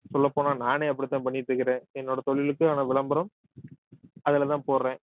சொல்லப்போனா நானே அப்படித்தான் பண்ணிட்டு இருக்கிறேன் என்னோட தொழிலுக்கான விளம்பரம் அதுலதான் போடுறேன்